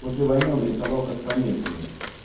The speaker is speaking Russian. после войны он рисовал как помешанный